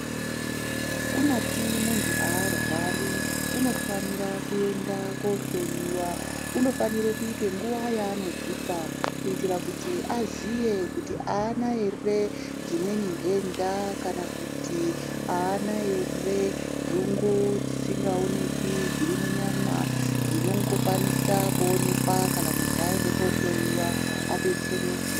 Kunyati muntu arwari uno fanira kuenda ko hloyiwa unofanire kuite nguva yaano dzipa kuitira kuti aziye kuti ana ere dzimweni ndenda kana kuti ana ere gungu dzisinga onekwi dziri munyama dzinongo kwanisa kuonekwa kana muntu ayenda ko hloyiwa adetsereke.